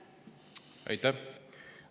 Aitäh!